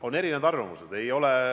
On erinevaid arvamusi.